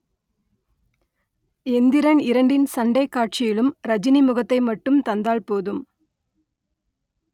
எந்திரன் இரண்டின் சண்டைக் காட்சியிலும் ரஜினி முகத்தை மட்டும் தந்தால் போதும்